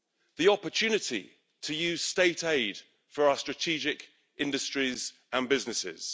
The opportunity to use state aid for our strategic industries and businesses.